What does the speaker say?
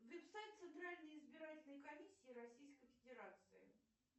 веб сайт центральной избирательной комиссии российской федерации